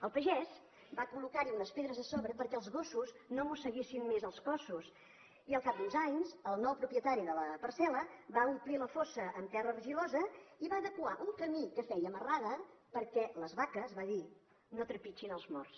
el pagès va col·locar hi unes pedres a sobre perquè els gossos no mosseguessin més els cossos i al cap d’uns anys el nou propietari de la parcel·la va omplir la fossa amb terra argilosa i va adequar un camí que feia marrada perquè les vaques va dir no trepitgin els morts